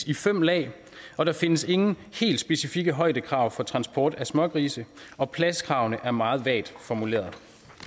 i fem lag og der findes ingen helt specifikke højdekrav for transport af smågrise og pladskravene er meget vagt formuleret